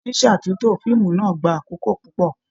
Ṣíṣátúntò fíìmù náà gbà àkókò púpọ.